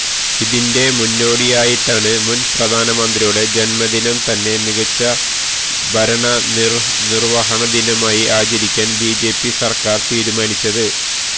ഇതിന്റെ മുന്നോടിയായിട്ടാണ് മുന് പ്രധാനമന്ത്രിയുടെ ജന്മദിനം തന്നെ മികച്ച ഭരണനിര്വഹണ ദിനമായി ആചരിക്കാന് ബിജെപി സര്ക്കാര് തീരുമാനിച്ചത്